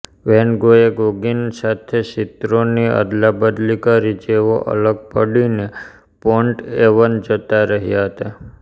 van ગોએ Gauguin સાથે ચિત્રોની અદલાબદલી કરી જેઓ અલગ પડીને પોન્ટએવન જતા રહ્યા હતા